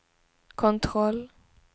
kontroll